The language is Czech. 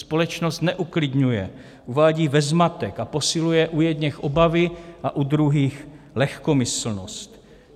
Společnost neuklidňuje, uvádí ve zmatek, posiluje u jedněch obavy a u druhých lehkomyslnost.